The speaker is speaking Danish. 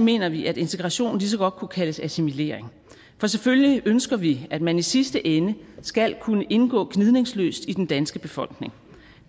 mener vi at integrationen lige så godt kunne kaldes assimilering for selvfølgelig ønsker vi at man i sidste ende skal kunne indgå gnidningsløst i den danske befolkning